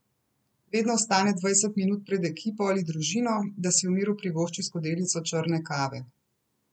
Vedno vstane dvajset minut pred ekipo ali družino, da si v miru privošči skodelico črne kave.